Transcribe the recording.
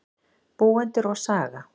Búendur og saga.